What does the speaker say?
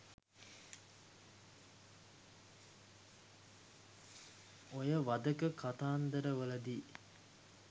ඔය වධක කතන්දර වලදි